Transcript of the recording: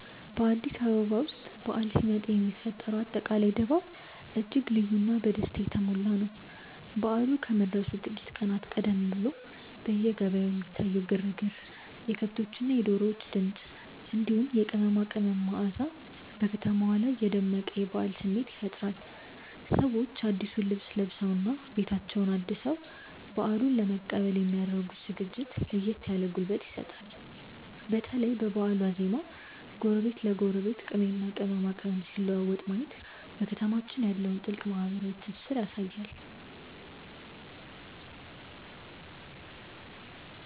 በአዲስ አበባ ውስጥ በዓል ሲመጣ የሚፈጠረው አጠቃላይ ድባብ እጅግ ልዩና በደስታ የተሞላ ነው። በዓሉ ከመድረሱ ጥቂት ቀናት ቀደም ብሎ በየገበያው የሚታየው ግርግር፣ የከብቶችና የዶሮዎች ድምፅ፣ እንዲሁም የቅመማ ቅመም መዓዛ በከተማዋ ላይ የደመቀ የበዓል ስሜት ይፈጥራል። ሰዎች አዲሱን ልብስ ለብሰውና ቤታቸውን አድሰው በዓሉን ለመቀበል የሚ ያደርጉት ዝግጅት ለየት ያለ ጉልበት ይሰጣል። በተለይ በበዓል ዋዜማ ጎረቤት ለጎረቤት ቅቤና ቅመማ ቅመም ሲለዋወጥ ማየት በከተማችን ያለውን ጥልቅ ማህበራዊ ትስስር ያሳያል።